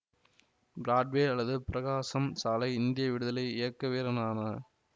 Broadway அல்லது பிரகாசம் சாலை இந்திய விடுதலை இயக்க வீரனான